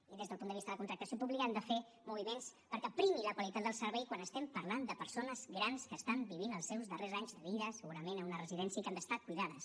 i des del punt de vista de la contractació pública hem de fer moviments perquè primi la qualitat del servei quan estem parlant de persones grans que estan vivint els seus darrers anys de vida segurament en una residència i que han d’estar cuidades